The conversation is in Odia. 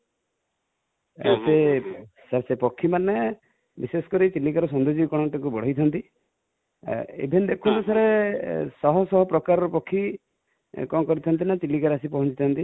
sir ସେ ପକ୍ଷୀ ମାନେ ବିଶେଷ କରି ଚିଲିକା ର ସୌଦର୍ଯ୍ୟକରଣ ଟାକୁ ବଢ଼େଇଛନ୍ତି| even ଦେଖନ୍ତୁ sir ଶହ ଶହ ପ୍ରକାର ର ପକ୍ଷୀ କଣ କରିଛନ୍ତି ନା, ଚିଲିକା ରେ ଆସି ପହଞ୍ଚିଛନ୍ତି |